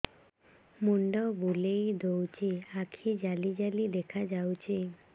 ମୁଣ୍ଡ ବୁଲେଇ ଦଉଚି ଆଖି ଜାଲି ଜାଲି ଦେଖା ଯାଉଚି